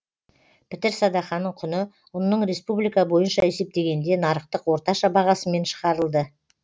пітір садақаның құны ұнның республика бойынша есептегенде нарықтық орташа бағасымен шығарылды